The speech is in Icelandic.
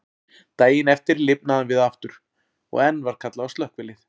Daginn eftir lifnaði hann við aftur, og enn var kallað á slökkvilið.